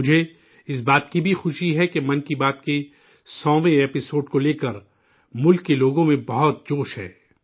مجھے اس بات کی بھی خوشی ہے کہ 'من کی بات' کے سوویں 100ویں ایپی سوڈ کو لے کر ملک کے لوگوں میں بہت جوش ہے